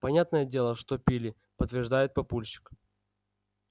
понятное дело что пили подтверждает папульчик